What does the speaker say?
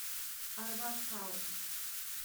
арбат хаус